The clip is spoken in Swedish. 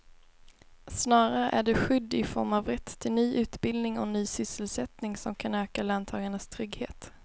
Snarare är det skydd i form av rätt till ny utbildning och ny sysselsättning som kan öka löntagarnas trygghet.